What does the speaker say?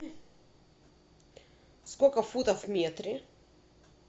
сколько футов в метре